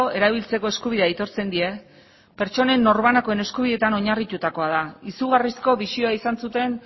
erabiltzeko eskubidea aitortzen die pertsonen norbanakoen eskubideetan oinarritutakoa da izugarrizko bisioa izan zuten